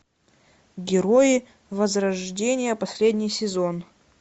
герои возрождение последний сезон